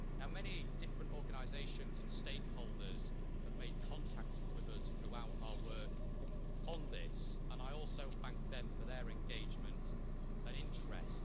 Many different organisations and stakeholders have made contact with us throughout our work on this, and I would like to thank them for their engagement and interest.